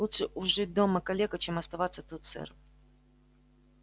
лучше уж жить дома калекой чем оставаться тут сэр